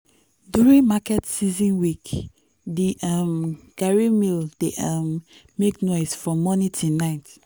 during market season week the um garri mill dey um make noise from morning till night.